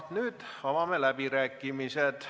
Nüüd avame läbirääkimised.